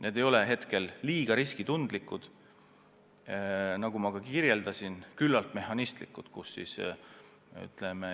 Need ei ole kuigi riskitundlikud, nagu ma juba ütlesin, on küllalt mehhanistlikud.